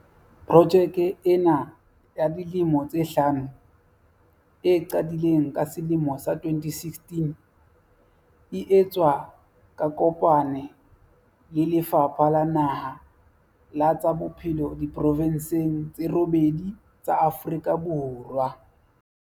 Projeke ena ya dilemo tse hlano, e qadileng ka selemo sa 2016, e etswa ka kopane lo le Lefapha la Naha la tsa Bophelo diprovenseng tse robedi tsa Afrika Borwa.